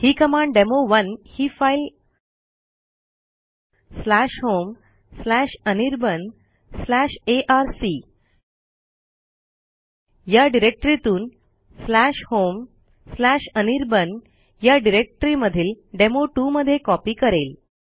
ही command demo one ही file homeanirbanarc या डिरेक्टरीतून homeanirbanया डिरेक्टरीमधील डेमो2 मध्ये कॉपी करेल